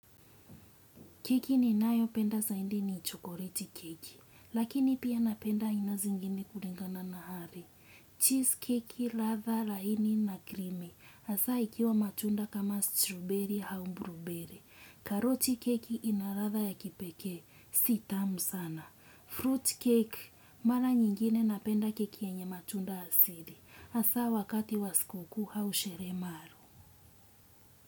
Keki ninayo penda saindi ni chokoleti keki, lakini pia napenda aina zingine kuringa na na hari. Cheese keki, latha, laini na krimi, hasa ikiwa matunda kama strawberry hau blueberry. Karoti keki ina latha ya kipekee, si tamu sana. Fruitcake mara nyingine napenda keki yenye matunda asili hasa wakati wa sikukuu au sherehe maalum.